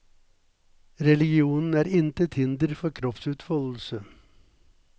Religionen er intet hinder for kroppsutfoldelse.